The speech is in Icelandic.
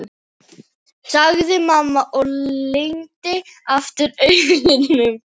sagði mamma og lygndi aftur augunum.